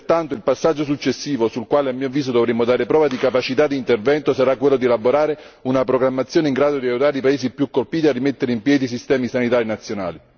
Pertanto il passaggio successivo, sul quale a mio avviso dovremo dare prova di capacità di intervento, sarà quello di elaborare una programmazione in grado di aiutare i paesi più colpiti a rimettere in piedi i sistemi sanitari nazionali.